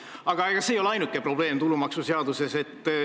Aga ega see ei ole ainuke probleem tulumaksuseaduses.